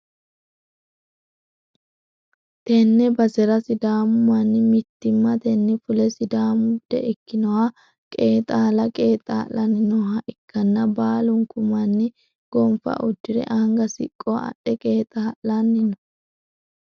tenne basera sidaamu manni mittimmatenni fule sidaamu bude ikkinoha qeexaala qeexaa'lanni nooha ikkanna, baalunku manni gonfa uddi're anga siqqo adhe qeexaa'lanni no.